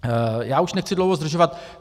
Já už nechci dlouho zdržovat.